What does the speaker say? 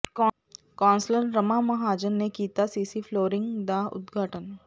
councillor Rama Mahajan ਨੇ ਕੀਤਾ CC flooring ਦਾ ਉਦਘਾਟਨ